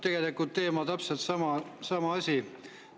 Tegelikult täpselt sama teema, sama asi.